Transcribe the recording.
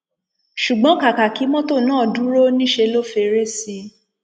ṣùgbọn kàkà kí mọtò náà dúró níṣẹ ló fẹrẹ sí í